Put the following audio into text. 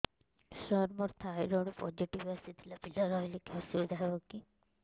ସାର ମୋର thyroid positive ଆସିଥିଲା ପିଲା ରହିଲେ କି ଅସୁବିଧା ହେବ